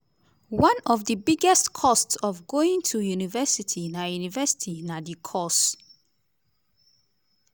one of di biggest costs of going to university na university na di course.